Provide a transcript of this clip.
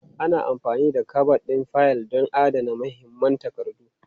Ana amfani da kabad ɗin fayil don adana muhimman takardu.